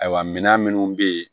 Ayiwa mina minnu be yen